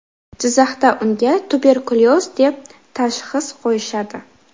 Jizzaxda unga tuberkulyoz deb tashxis qo‘yishadi.